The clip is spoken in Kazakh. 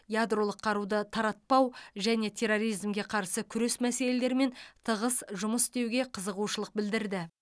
ядролық қаруды таратпау және терроризмге қарсы күрес мәселелерімен тығыз жұмыс істеуге қызығушылық білдірді